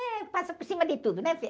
É, passa por cima de tudo, né, filho?